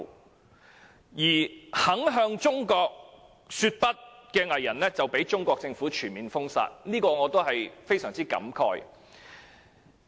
那些仍然敢向中國說不的藝人，更被中國政府全面封殺，我對此感到非常感慨。